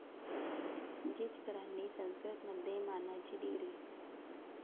जिचकरांनी संस्कृतमध्ये मानाची डी.